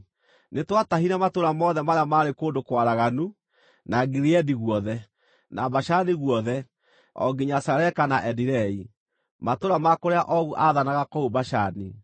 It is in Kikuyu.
Nĩtwatahire matũũra mothe marĩa maarĩ kũndũ kwaraganu, na Gileadi guothe, na Bashani guothe, o nginya Saleka na Edirei, matũũra ma kũrĩa Ogu aathanaga kũu Bashani.